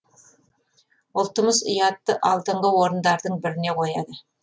ұлтымыз ұятты алдыңғы орындардың біріне қояды